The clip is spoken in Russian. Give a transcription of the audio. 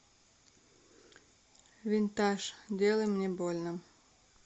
винтаж делай мне больно